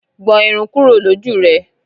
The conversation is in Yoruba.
Gbọn irun kúrò l'oju rẹ!